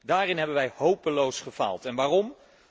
Daarin hebben wij hopeloos gefaald, en waarom?